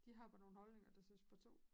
De har bare nogle holdninger der siger spar 2